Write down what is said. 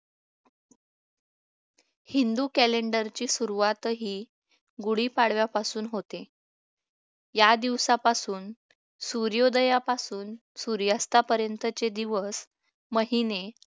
Hindu calender ची सुरुवातही गुढीपाडव्यापासून होते या दिवसापासून सूर्योदयापासून सूर्यास्तापर्यंत चे दिवस महिने